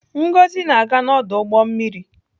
Ngozi na-aga n'ọdụ ụgbọ mmiri.